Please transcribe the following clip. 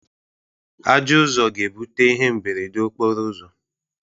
Ajọọ Ụzọ ga-ebute ihe mberede okporo ụzọ.